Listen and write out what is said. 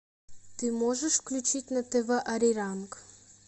ты можешь включить на тв ариранг